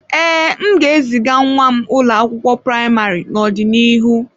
Ee, m ga-eziga nwa m ụlọ akwụkwọ praịmarị n'ọdịnihu.